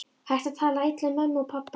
Hættu að tala illa um mömmu og pabba!